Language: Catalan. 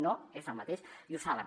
no és el mateix i ho saben